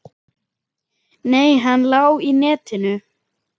Nei, hann lá í netinu.